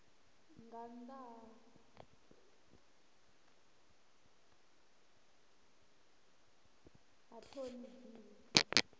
nga nnḓa ha ṱhoni dzine